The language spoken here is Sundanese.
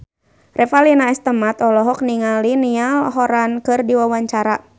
Revalina S. Temat olohok ningali Niall Horran keur diwawancara